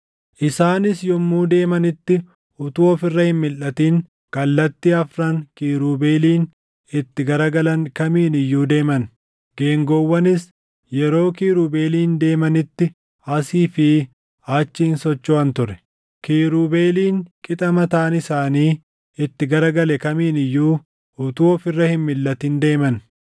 Isaanis yommuu deemanitti utuu of irra hin milʼatin kallattii afran kiirubeeliin itti gara galan kamiin iyyuu deeman; geengoowwanis yeroo kiirubeeliin deemanitti asii fi achi hin sochoʼan ture. Kiirubeeliin qixa mataan isaanii itti gara gale kamiin iyyuu utuu of irra hin milʼatin deeman.